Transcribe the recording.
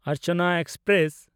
Archana express